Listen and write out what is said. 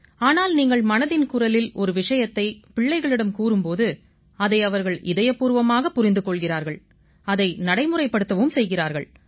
ஆனால் நீங்கள் மனதின் குரலில் ஒரு விஷயத்தை பிள்ளைகளிடம் கூறும் போது அதை அவர்கள் இதயபூர்வமாகப் புரிந்து கொள்கிறார்கள் அதை நடைமுறைப்படுத்தவும் செய்கிறார்கள்